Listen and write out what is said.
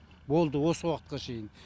болды осы уақытқа шейін